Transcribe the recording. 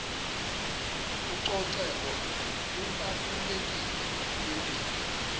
ucoceko lubalulekile kwimpilo